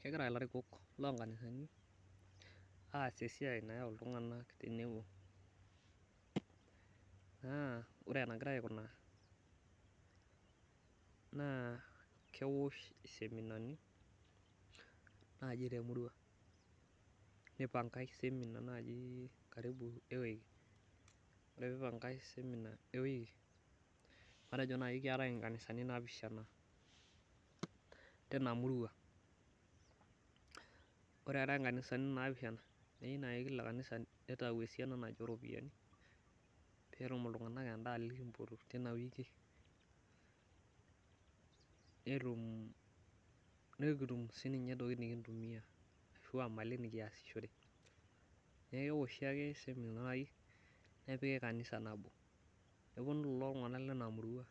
Kegira ilarikok loonkanisani aas esiai nayau iltunganak tenebo. naa ore enagiraa aikunaa kewosh iseminani naaji temurua neipankai semima matejo ewiki. ore pee ipankae semina ewiki matejo naaji keetae nkanisani naapishana tina murua ,ore eetae nkanisani napishana neyieu naaji kanisa neitayu esiana ooropiyiani pee etum iltunganak endaa loipotoki kitina wiki nikitum siininche ntokiting nikintumiya ashua mali nikiasishore ,neeku keoshi ake naaji semina nepikita kanisa nabo neponu kulo tunganak lena murua